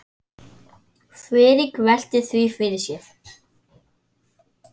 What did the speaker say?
Friðrik velti því fyrir sér.